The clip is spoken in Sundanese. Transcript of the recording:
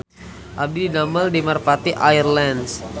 Abdi didamel di Merpati Air Lines